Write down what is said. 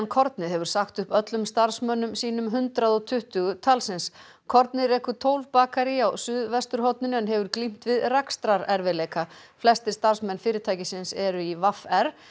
kornið hefur sagt upp öllum starfsmönnum sínum hundrað og tuttugu talsins kornið rekur tólf bakarí á suðvesturhorninu en hefur glímt við rekstrarerfiðleika flestir starfsmenn fyrirtækisins eru í v r